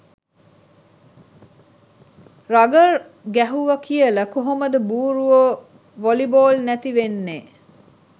Rugger ගැහුව කියල කොහොමද බූරුවො වොලි බෝල් නැති වෙන්නෙ.